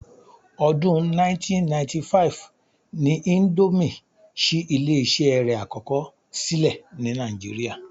Ọdún 1995 ni índómì ṣí ilé-iṣé rẹ̀ àkọ́kọ́ sílẹ̀ ni Nàìjíríà